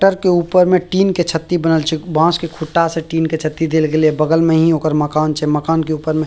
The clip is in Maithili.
टर के ऊपर में टिन के छती बनल छे बांस के खुटा से टिन के छती देल गेले बगल में ही ओकर मकान छे मकान के ऊपर में --